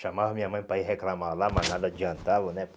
Chamava minha mãe para ir reclamar lá, mas nada adiantava, né?